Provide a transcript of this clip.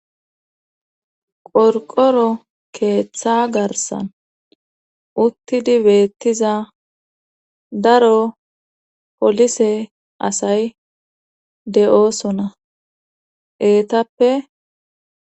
qorqoro keeththa garsan uttidi beettiza daro polise asay de7oosona eetappe